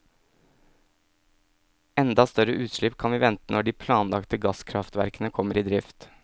Enda større utslipp kan vi vente når de planlagte gasskraftverkene kommer i drift.